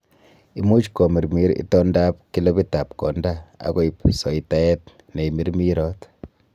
Imuch komirmir itondab kilopitab konda, ak koib soitaet neimirmirot.